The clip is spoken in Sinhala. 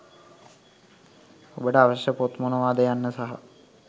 ඔබට අවශ්‍ය පොත් මොනවාද යන්න සහ